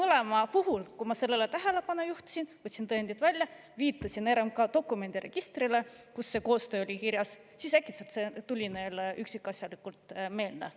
Aga kui ma sellele tähelepanu juhtisin, võtsin tõendid välja, viitasin RMK dokumendiregistrile, kus see koostöö oli kirjas, siis mõlemale tuli see äkitselt üksikasjalikult meelde.